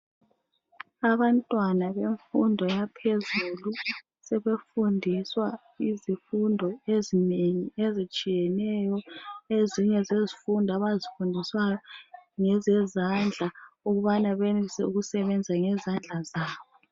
Abantwana bemfundo yaphezulu, sebefundiswa izifundo ezinengi ezitshiyeneyo. Ezinye zezifundo abazifundiswayo ngezezandla, ukubana benze ukusebenza ngezandla zabo.